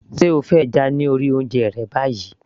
se o fẹ́ ẹja lórí oúnjẹ rẹ báyìí